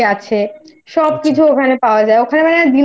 যা গল্পের বইটই আছে সব কিছু ওখানে পাওয়া যায় ওখানে